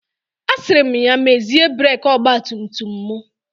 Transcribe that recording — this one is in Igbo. Asịrị m ya mezie breki ọgba tum tum m.